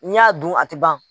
N y'a dun a tɛ ban.